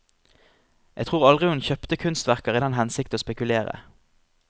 Jeg tror aldri hun kjøpte kunstverker i den hensikt å spekulere.